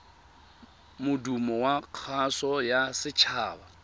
modumo wa kgaso ya setshaba